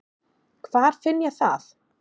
Hvar finn ég það?